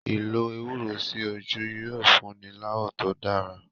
Ìlò ewúro sí ojú yóò fúnni láwọ̀ tó dára.